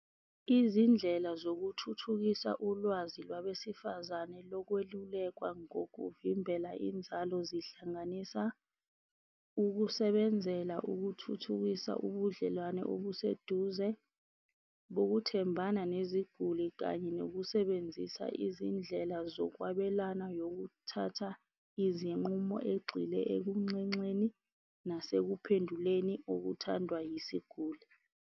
Izindlela zokuthuthukisa ulwazi lwabesifazane lokwelulekwa ngokuvimbela inzalo zihlanganisa ukusebenzela ukuthuthukisa ubudlelwane obuseduze lokuthembana neziguli, kanye nokusebenzisa izindlela zokwabelana nokuthatha izinqumo egxile kunxenxeni nasekuphenduleni okuthandwa yisiguli.